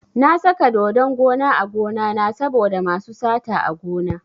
Na saka dodon gona a gonana saboda masu sata a gona.